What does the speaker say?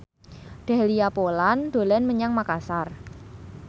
Dahlia Poland dolan menyang Makasar